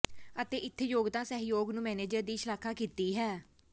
ਅਤੇ ਇੱਥੇ ਯੋਗਤਾ ਸਹਿਯੋਗ ਨੂੰ ਮੈਨੇਜਰ ਦੀ ਸ਼ਲਾਘਾ ਕੀਤੀ ਹੈ